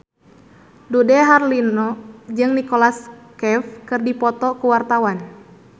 Dude Herlino jeung Nicholas Cafe keur dipoto ku wartawan